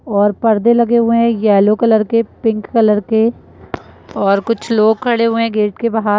और पर्दे लगे हुए हैं येलो कलर के पिंक कलर के और कुछ लोग खड़े हुए हैं गेट के बाहर --